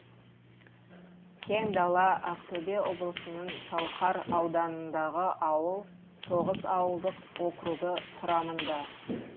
кеңдала ақтөбе облысының шалқар ауданындағы ауыл тоғыз ауылдық округі құрамында